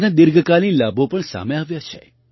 તેના દીર્ઘકાલીન લાભો પણ સામે આવ્યા છે